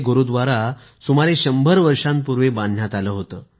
हा गुरूद्वारा सुमारे शंभर वर्षांपूर्वी बांधण्यात आला होता